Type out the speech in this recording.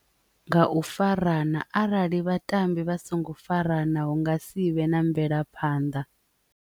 Nga u farana arali vhatambi vha songo farana hu nga si vhe na mvelaphanḓa.